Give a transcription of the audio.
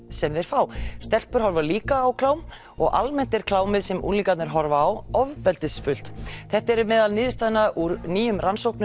sem þeir fá stelpur horfa líka á klám og almennt er klámið sem unglingarnir horfa á ofbeldisfullt þetta eru niðurstöður úr nýrri rannsókn